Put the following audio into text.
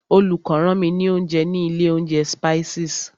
Olùkó rán mi ní oúnjẹ ní ilé oúnjẹ Spices.